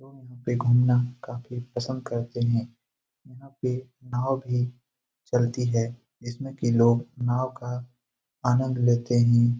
लोग यहाँ पे घूमना काफी पसंद करते हैं। यहाँ पे नाव भी चलती है जिसमें की लोग नाव का आनंद लेते हैं।